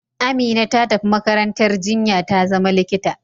Amina ta tafi makarantar jinya ta zama likita.